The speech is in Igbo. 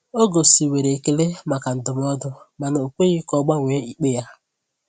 Ọ gosiwere ekele maka ndụmọdụ, mana o kweghị ka ọ gbanwee ikpe ya.